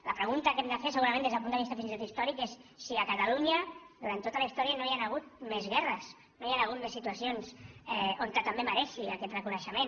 la pregunta que hem de fer segurament des del punt de vista fins i tot històric és si a catalunya durant tota la història no hi han hagut més guerres no hi han hagut més situacions que també mereixin aquest reconeixement